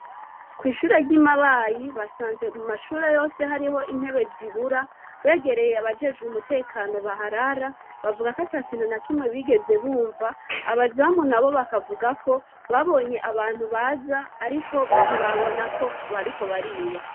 Kwishure ryi Mabayi basanze mu mashure yose hariho intebe zibura begereye abajejwe umutekano baharara bavugako atakintu na kimwe bigeze bumva, abazamu nabo bakavugako babonye abantu baza ariko ntibabonako bariko bariba.